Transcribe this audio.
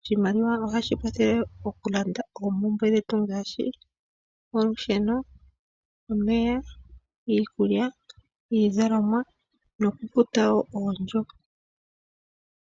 Oshimaliwa ohashi kwathele oku landa oompumbwe dhetu ngaashi olusheno, omeya, iikulya, iizalomwa nokufuta wo oondjo.